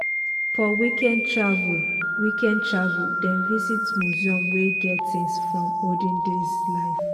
for weekend travel weekend travel dem visit museum wey get things from olden days life.